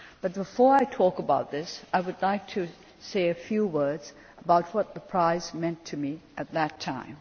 But before I talk about this, I would like to say a few words about what the prize meant to me at that time.